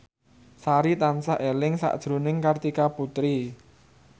Sari tansah eling sakjroning Kartika Putri